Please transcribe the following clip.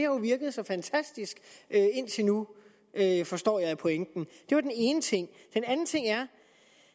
jo virket så fantastisk indtil nu forstår jeg på pointen det var den ene ting den anden ting er